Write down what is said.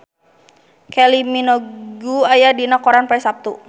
Kylie Minogue aya dina koran poe Saptu